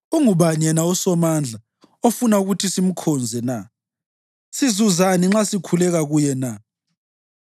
Ungubani yena uSomandla ofuna ukuthi simkhonze na? Sizazuzani nxa sikhuleka kuye na?’